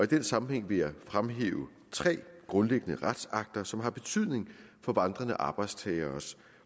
den sammenhæng vil jeg fremhæve tre grundlæggende retsakter som har betydning for vandrende arbejdstagere